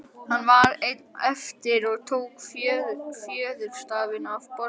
Hann var einn eftir og tók fjöðurstafinn af borðinu.